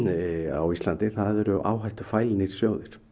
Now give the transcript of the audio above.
á Íslandi eru áhættufælnir sjóðir